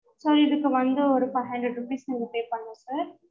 sir இதுக்கு வந்து ஒரு five hundred rupees நீங்க pay பண்ணணும் sir